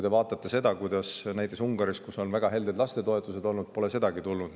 Vaadake, kuidas see on näiteks Ungaris, kus on väga helded lastetoetused olnud ja kus pole sedagi tulnud.